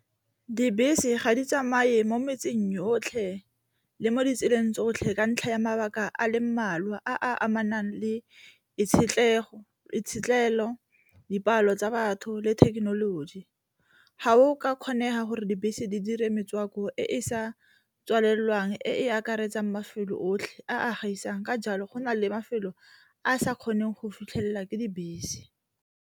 Dibese ga di tsamaye mo metseng yotlhe le mo ditseleng tsotlhe ka ntlha ya mabaka a le mmalwa a a amanang le itshetlelo, dipalo tsa batho le thekenoloji. Ga go ka kgonega gore dibese di dire metswako e e sa tswalelwang e e akaretsang mafelo otlhe a gaisang, ka jalo go na le mafelo a a sa kgoneng go fitlhelela ke dibese.